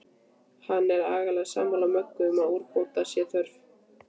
Hann er algerlega sammála Möggu um að úrbóta sé þörf.